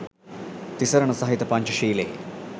තිසරණ සහිත පංචශීලයෙහි